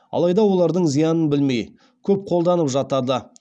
алайда олардың зиянын білмей көп қолданып жатады